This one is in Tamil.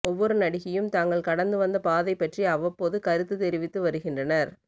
ஒவ்வொரு நடிகையும் தாங்கள் கடந்து வந்த பாதை பற்றி அவ்வப்போது கருத்து தெரிவித்து வருகின்றனர்